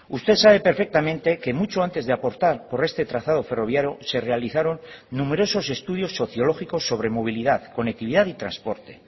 usted sabe perfectamente que mucho antes de aportar por este trazado ferroviario se realizaron numerosos estudios sociológicos sobre movilidad conectividad y transporte